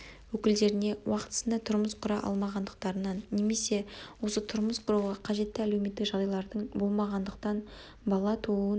өкілдеріне уақтысында тұрмыс құра алмағандықтарынан немесе осы тұрмыс құруға қажетті әлеуметтік жағдайлардың болмағандықтан бала тууын